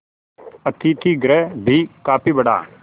अतिथिगृह भी काफी बड़ा